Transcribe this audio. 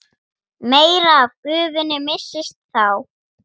meira af gufunni missist þá.